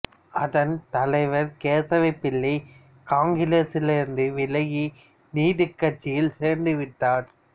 அதன் தலைவர் கேசவ பிள்ளை காங்கிரசிலிருந்து விலகி நீதிக்கட்சியில் சேர்ந்து விட்டார்